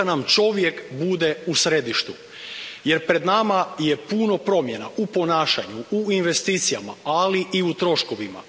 Neka nam čovjek bude u središtu, jer pred nama je puno promjena i ponašanju, u investicijama, ali i u troškovima.